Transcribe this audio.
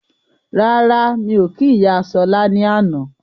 Rárá, mí ò kí ìyá Ṣọla ní àná